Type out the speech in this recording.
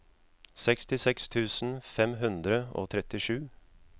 sekstiseks tusen fem hundre og trettisju